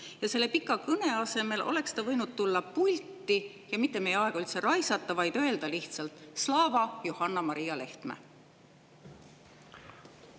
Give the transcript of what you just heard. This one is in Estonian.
Ja selle pika kõne asemel oleks ta võinud tulla pulti ja mitte meie aega raisata, vaid öelda lihtsalt: slava, Johanna-Maria Lehtme!